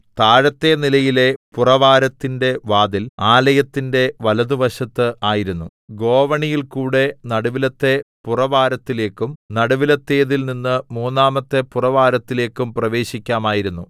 താഴത്തെ നിലയിലെ പുറവാരത്തിന്റെ വാതിൽ ആലയത്തിന്റെ വലത്തുഭാഗത്ത് ആയിരുന്നു ഗോവണിയിൽ കൂടെ നടുവിലത്തെ പുറവാരത്തിലേക്കും നടുവിലത്തേതിൽ നിന്ന് മൂന്നാമത്തെ പുറവാരത്തിലേക്കും പ്രവേശിക്കാമായിരുന്നു